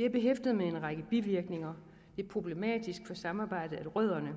er behæftet med en række bivirkninger det er problematisk for samarbejdet at rødderne